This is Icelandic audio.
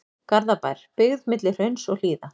Garðabær, byggð milli hrauns og hlíða.